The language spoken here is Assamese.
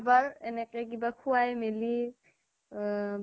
বাৰ এনেকে কিবা খোৱাই মেলি আহ